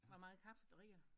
Hvor meget kaffe drikker du?